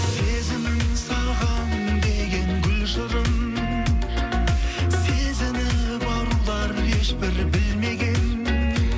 сезімім саған деген гүл шырын сезініп арулар ешбір білмеген